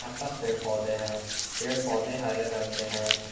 पास पेड़ पौधे हैं पेड़ पौधे हरे रंग के हैं।